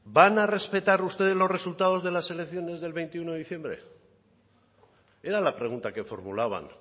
van a respetar ustedes los resultados de las elecciones del veintiuno de diciembre era la pregunta que formulaban